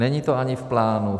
Není to ani v plánu.